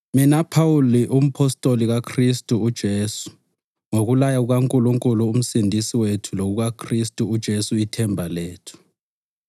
Mina Phawuli, umpostoli kaKhristu uJesu ngokulaya kukaNkulunkulu uMsindisi wethu lokukaKhristu uJesu ithemba lethu,